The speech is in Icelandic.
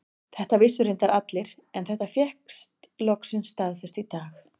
Þetta vissu reyndar allir en þetta fékkst loksins staðfest í dag.